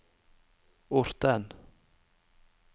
Orten